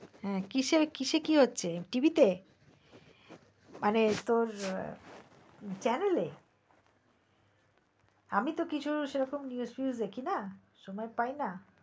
হ্যাঁ কিসে কি হচ্ছে tv তে মানে তোর channel এ আমি তো কিছু সেরকম news টুউস দেখি না সময় ও পাই না